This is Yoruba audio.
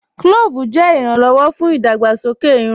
Clóòvù jẹ iràn-lọ́wọ̀ fún idàgbàsọkè ìrùn.